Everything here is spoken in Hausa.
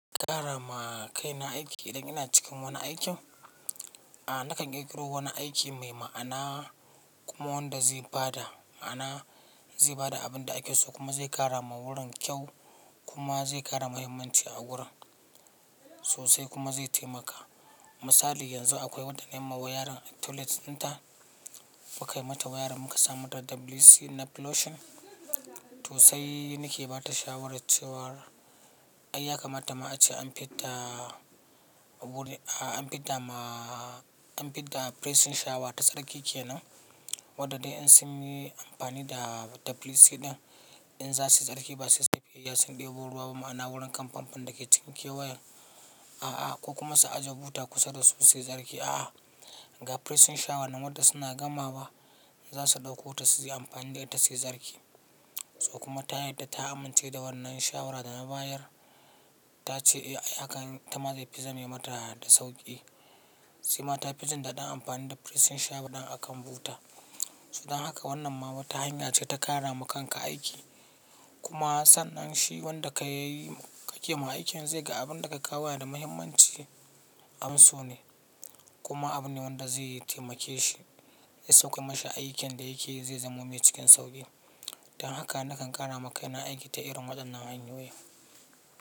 Ƙara ma kaina aiki idan ina cikin wani aikin? Nakan ƙirƙiro wani aiki mai ma'ana kuma wanda zai bada ma'ana, zai bada abin da ake so kuma zai ƙara ma wurin kyau kuma zai ƙara mahimmanci a wurin sosai kuma zai taimaka. Misali yanzu akwai wadda nayi ma wayarin a toilet dinta, mukai mata wayarin muka sa mata WC na plushing. Tosai nike bata shawarar cewar ai yakamata ma ace an fidda an fidda ma, an fidda pressing shower ta tsarki kenan. Wadanda in sunyi amfani da WC din in zasu yi tsarki ba sai sunje cikin gida sun ɗebo ruwa ba ma'ana wurin kan famfon dake cikin kewayen a a ko kuma su ajiye buta kusa da su su yi tsarki. A ga pressing shower nan wadda suna gama wa zasu ɗauko ta su yi amfani da ita su yi tsarki. So kuma ta yadda ta amince da wannan shawara da na bayar. Ta ce ai hakan ita ma zai fi zame mata da sauƙi. Sema ta fi jin daɗin amfani da pressing shower ɗin a kan buta. To dan haka wannan ma wata hanya ce ta ƙara ma kanka aiki. Kuma sannan shi wanda kayi ka kema aikin zai ga abinda ka kawo yana da muhimmanci abunso ne. Kuma abu ne wanda zai taimake shi. Ze so kayi mashi aikin da yake zai zamo mai cikin sauƙi. Dan haka nakan ƙara ma kaina aiki ta irin waɗannan hanyoyi.